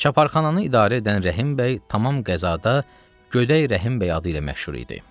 Çaparxananı idarə edən Rəhimbəy tamam qəzada Göydəy Rəhimbəy adı ilə məşhur idi.